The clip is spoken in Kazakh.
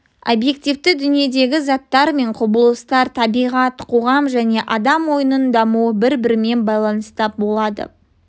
обьективті дүниедегі заттар мен құбылыстар табиғат қоғам және адам ойының дамуы бір бірімен байланыста болады